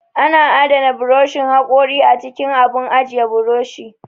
Ana adana buroshin haƙori a cikin abun ajiye buroshi